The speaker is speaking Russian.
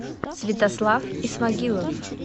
святослав исмагилов